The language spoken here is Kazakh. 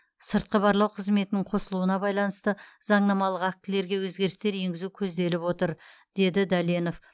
сыртқы барлау қызметінің қосылуына байланысты заңнамалық актілерге өзгерістер енгізу көзделіп отыр деді дәленов